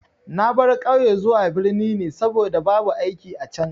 Na baro ƙauye zuwa birni ne saboda babu aiki a can.